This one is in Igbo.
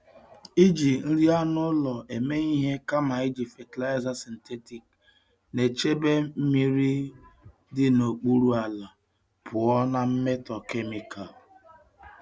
Iji nri anụ ụlọ eme ihe kama iji fatịlaịza sịntetik na-echebe mmiri dị n'okpuru ala pụọ na mmetọ kemịkal.